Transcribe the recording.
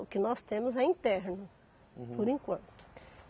O que nós temos é interno. Uhum. Por enquanto.